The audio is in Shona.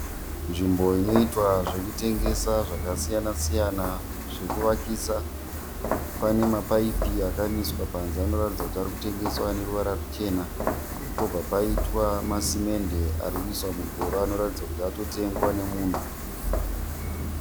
Nzvimbo inoitwa zvekutengesa zvakasiyana siyana zvekuvakisa. Pane mapaipi akamiswa panze anoratidza kuti arikutengeswa aneruvara ruchena. Pobva paita masimende arikuiswa kugova arikuratidza kuti atotengwa nemunhu.